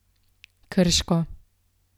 Krško.